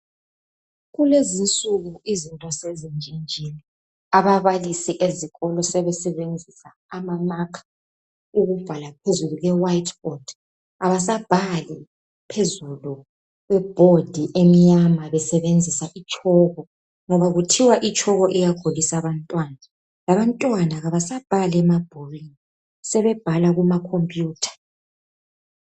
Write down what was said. Kulezi insuku izinto sezitshintshile. Ababalisi ezikolo sebesebenzisa ama marker ukubhala phezulu kwe white board. Abasabhali phezulu kweboard emnyama besebenzisa itshoko, ngoba kuthiwa itshoko iyagulisa abantwana. Labantwana abasabhali emabhukwini sebebhala kuma computer.